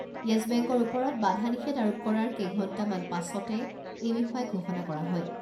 য়েছ বেংকৰ ওপৰত বাধা নিষেধ আৰোপ কৰাৰ কেইঘণ্টা মানৰ পাছতে এই বিষয়ে ঘোষণা কৰা হয়।